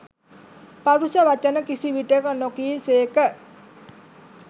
පරුෂ වචන කිසි විටෙක නො කී සේක.